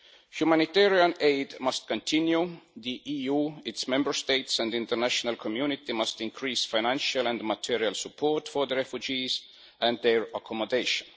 Humanitarian aid must continue, the EU, its Member States and the international community must increase financial and material support for the refugees and their accommodation.